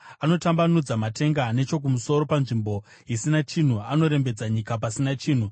Anotambanudza matenga nechokumusoro panzvimbo isina chinhu; anorembedza nyika pasina chinhu.